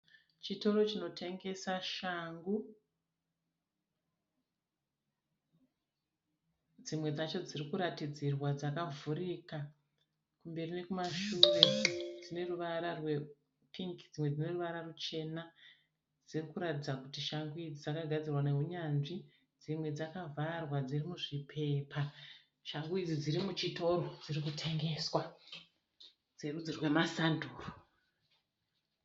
Chitoro chinotengesa shangu, dzimwe dzacho dziri kuratidzirwa dzaka vhurika kumberi nekumashure dzine ruvara rwe pingi dzimwe dzine ruvara ruchena dziri kuratidza kuti shangu idzi dzakagadzirwa neunyanzvi dzimwe dzakavharwa dziri muzvipepa shangu idzi dziri muchitoro dziri kutengeswa dzerudzi rwema sanduro.